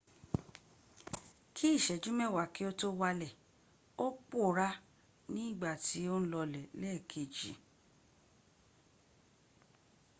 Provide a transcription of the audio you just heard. bí ìṣẹ́jú mewa kí o tó wàlẹ̀ ò pòorá ní gbà tí o n lọlẹ̀ lẹ́ẹ̀kej